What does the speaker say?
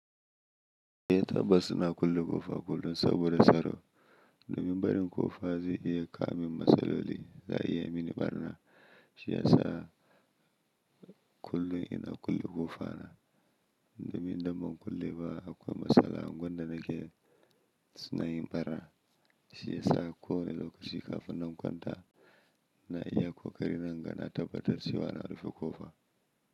Eh tabbas ina kulle ƙofa kullum saboda tsaro. Domin barin ƙofa zai iya kawo min matsaloli, za'a iya yi mini ɓarna, Shiyasa, kullun ina kulle ƙofa na. Domin idan ban kulle ba akwai matsala, ungwan da nake, sunayin ɓarna. Shiyasa kowane lokaci kafin na kwanta, ina iya kokari na inga na tabbatar cewa na rufe ƙofa.